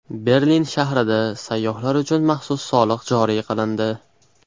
Berlin shahrida sayyohlar uchun maxsus soliq joriy qilindi.